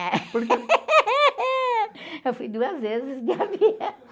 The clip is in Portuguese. Eu fui duas vezes de avião.